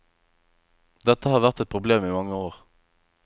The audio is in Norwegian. Dette har vært et problem i mange år.